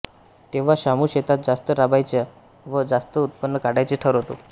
तेव्हा शामू शेतात जास्त राबायचे व जास्त उत्पन्न काढायचे ठरवतो